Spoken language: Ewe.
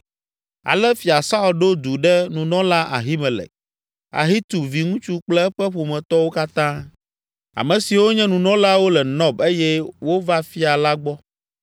Ale Fia Saul ɖo du ɖe nunɔla Ahimelek, Ahitub viŋutsu kple eƒe ƒometɔwo katã, ame siwo nye nunɔlawo le Nɔb eye wova fia la gbɔ.